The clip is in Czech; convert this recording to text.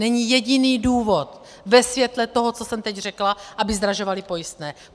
Není jediný důvod ve světle toho, co jsem teď řekla, aby zdražovali pojistné.